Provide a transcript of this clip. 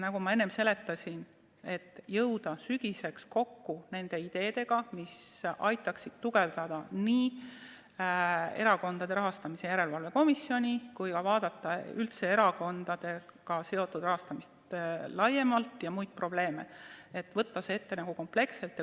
Nagu ma enne seletasin, tahetakse sügiseks kokku koguda nii need ideed, mis aitaksid tugevdada erakondade rahastamise järelevalve komisjoni tegevust, kui ka vaadata erakondadega seotud rahastamist laiemalt ja muid probleeme – võtta kõik need teemad ette kompleksselt.